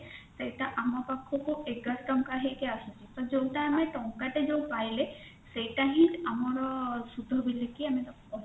ସେଟା ଆମ ପାଖକୁ ଏଗାର ଟଙ୍କା ହେଇକି ଆସୁଛି ତ ଯୋଉଟା ଆମେ ଟଙ୍କା ଟେ ଯୋଉ ପାଇଲେ ସେଇଟା ହିଁ ଆମର ସୁଧ ବୋଲିକି ଆମେ ତାକୁ କହିଥାଉ